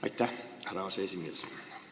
Aitäh, härra aseesimees!